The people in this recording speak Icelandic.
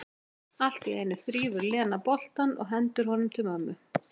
Allt í einu þrífur Lena boltann og hendir honum til mömmu.